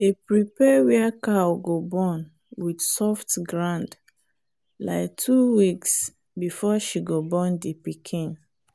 we day prepare where cow go born with soft ground like two weeks before she go born the piken.